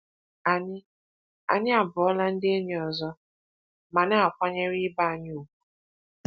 Anyị Anyị abụọla ndị enyi ọzọ ma na-akwanyere ibe anyị ùgwù.